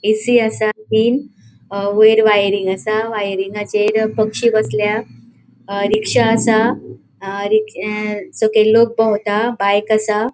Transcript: ऐ. C. असा तीन wire wiring असा वायरींगाचेर पक्षी बोसल्या रिक्शा असा अ सकयल लोक भोवता बाइक असा.